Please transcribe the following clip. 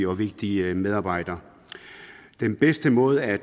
og vigtige medarbejdere den bedste måde at